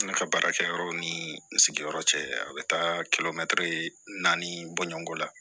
Ne ka baarakɛyɔrɔ ni n sigiyɔrɔ cɛ a bɛ taa kilomɛtiri naani bɔɲɔnko la